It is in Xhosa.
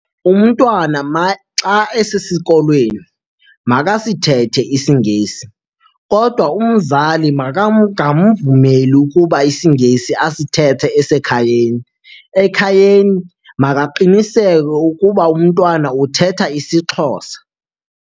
Umntwana maxa esesikolweni makasithethe isiNgesi kodwa umzali makangamvumeli ukuba isiNgesi asithethi esekhayeni. Ekhayeni makaqiniseke ukuba umntwana uthetha isiXhosa.